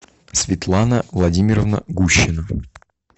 светлана владимировна гущина